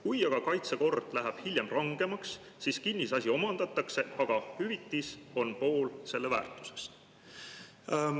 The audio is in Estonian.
Kui aga kaitsekord läheb hiljem rangemaks, siis kinnisasi omandatakse, aga hüvitis on pool selle väärtusest.